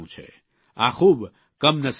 આ ખૂબ કમનસીબ બાબત છે